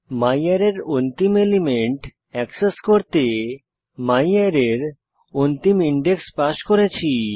ম্যারে এর অন্তিম element access করতে ম্যারে এর অন্তিম ইনডেক্স পাস করেছি